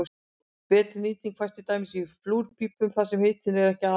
betri nýting fæst til dæmis í flúrpípum þar sem hitun er ekki aðalatriðið